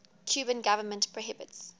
cuban government prohibits